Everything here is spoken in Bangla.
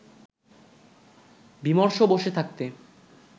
বিমর্ষ বসে থাকতে